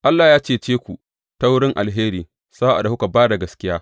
Allah ya cece ku ta wurin alheri sa’ad da kuka ba da gaskiya.